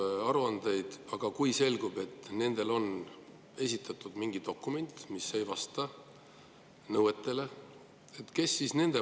Aga, kui selgub, et nad on esitanud mingi dokumendi, mis ei vasta nõuetele?